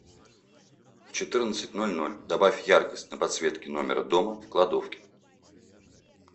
в четырнадцать ноль ноль добавь яркость на подсветке номера дома в кладовке